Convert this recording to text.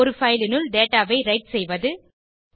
ஒரு பைல் னுள் டேட்டா ஐ விரைட் செய்வது